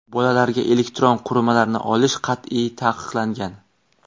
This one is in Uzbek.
Bolalarga elektron qurilmalarni olish qat’iy taqiqlangan.